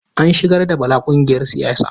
An shigar da Bala ƙungiyar siyasa.